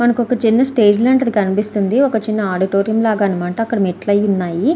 మనకి ఒక చిన్న స్టేజ్ లాంటిది కనిపిస్తుంది ఒక చిన్న ఆడిటోరియం లాగా అన్నమాట మెట్లయ్యి ఉన్నాయి.